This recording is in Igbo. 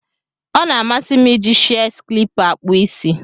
Ọna amasi m iji shears klipa akpụ isi.